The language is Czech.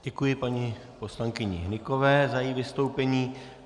Děkuji paní poslankyni Hnykové za její vystoupení.